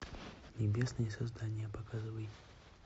небесные создания показывай